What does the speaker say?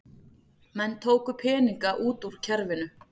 Menn tóku peninga út úr kerfinu